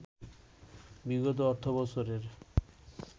বিগত অর্থবছরের